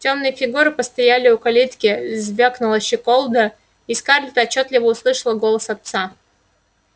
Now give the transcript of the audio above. тёмные фигуры постояли у калитки звякнула щеколда и скарлетт отчётливо услышала голос отца